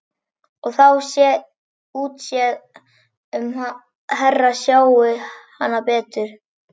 Og þá sé útséð um að Hera sjái hana framar.